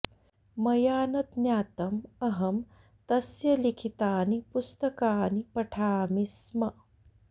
मया न ज्ञातं अहं तस्य लिखितानि पुस्तकानि पठामि स्म